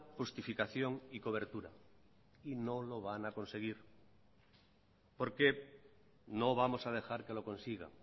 justificación y cobertura y no lo van a conseguir porque no vamos a dejar que lo consiga